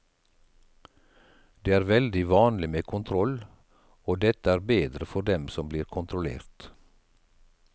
Det er veldig vanlig med kontroll, og dette er bedre for dem som blir kontrollert.